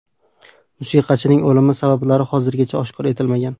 Musiqachining o‘limi sabablari hozirgacha oshkor etilmagan.